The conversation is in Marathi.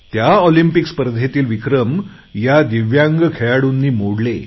त्या ऑलिम्पिक स्पर्धेतील विक्रम ह्या दिव्यांग खेळाडूंनी मोडले